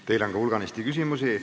Teile on ka hulganisti küsimusi.